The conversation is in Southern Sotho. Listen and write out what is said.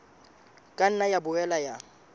ka nna ya boela ya